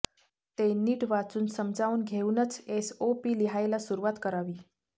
ते नीट वाचून समजावून घेऊनच एसओपी लिहायला सुरुवात करावी